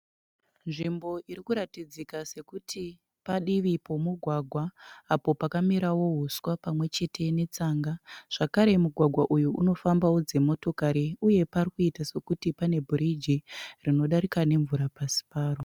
Nzvimbo irikuratidzika sekuti padivi pomugwagwa, apo pakamerawo huswa pamwechete netsanga. Zvekare mugwagwa uyu unofambawo dzimotokari. Uye pari kuita sekuti pane bhiriji rinodarika nemvura pasi paro.